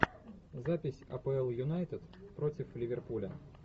запись апл юнайтед против ливерпуля